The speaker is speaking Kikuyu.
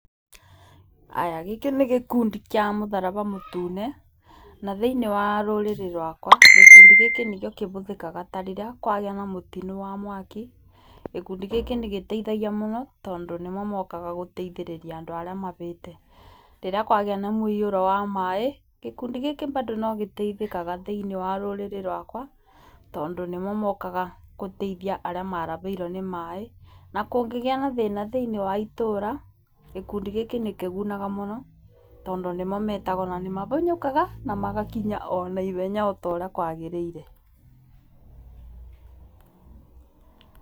Haya, gĩkĩ nĩ gĩkundi kĩa mũtharaba mũtune, na thĩiniĩ wa rũrĩrĩ rakwa nĩkĩo kĩhũthĩkaga ta rĩrĩa kwagĩa mũtino wa mwaki, gĩkundi gĩkĩ nĩgĩ teithagia mũno tondũ nĩo mokaga gũteithĩrĩria andũ arĩa mabĩte , rĩrĩa kwagĩa na mũihũro wa maaĩ, gĩkundi gĩkĩ bado no gĩteithĩkaga thĩiniĩ wa rũrĩrĩ rwakwa tondũ nĩmo mokaga gũteithia andũ arĩa marabĩirwo nĩ maaĩ na kũngĩgĩa na thĩna thĩiniĩ wa itũra, gĩkundi gĩkĩ nĩkĩgũnaga mũno, tondũ nĩmo metagwo na nĩmamonyokaga magakinya ona ihenya ũrĩa kwagĩrĩire.